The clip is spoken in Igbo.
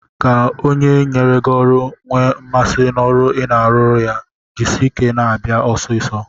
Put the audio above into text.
Ka onye nyere gị ọrụ nwee mmasị n'ọrụ ị na-arụrụ ya, jisie ike na-abịa ọsịsọ.